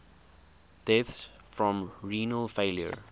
deaths from renal failure